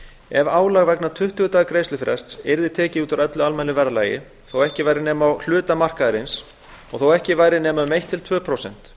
ef álag vegna tuttugu daga greiðslufrests yrði tekið út úr almennu verðlagi þó ekki væri nema á hluta markaðarins og þó ekki væri nema um eitt til tvö prósent